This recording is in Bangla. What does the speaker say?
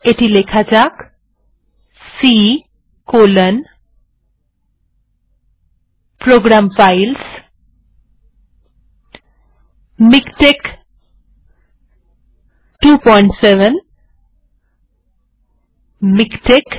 c colonপ্রোগ্রাম filesমিকটেক্স ২৭ miktexbin